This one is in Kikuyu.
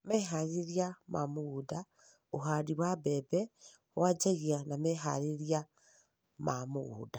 Meharĩrĩria ma mũgũnda: ũhandi wa mbembe wanjagia na meharĩrĩria ma mũgũnda.